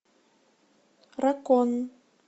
дракон